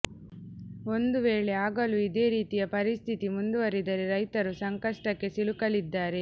ಒಂದು ವೇಳೆ ಆಗಲೂ ಇದೇ ರೀತಿಯ ಪರಿಸ್ಥಿತಿ ಮುಂದುವರಿದರೆ ರೈತರು ಸಂಕಷ್ಟಕ್ಕೆ ಸಿಲುಕಲಿದ್ದಾರೆ